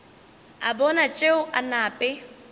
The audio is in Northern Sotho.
a bona tšeo a nape